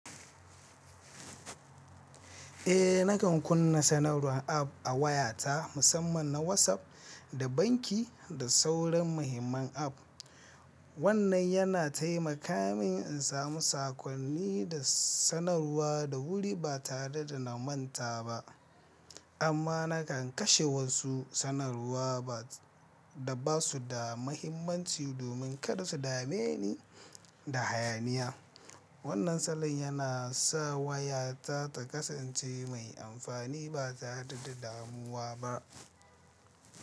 Eh nakan kunna sanarwar app a wayata, musamman na WhatsApp da banki da sauran muhimman app. Wannan yana taimaka min in samu saƙonni da sanarwa da wuri ba tare da na manta ba. Amma nakan kashe wasu sanarwa da ba su da muhimmanci domin kada su dame ni da hayaniya. Wannan salon yana sa wayata ta kasance mai amfani ba tare da damuwa ba.